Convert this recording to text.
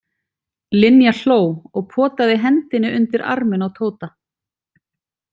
Linja hló og potaði hendinni undir arminn á Tóta.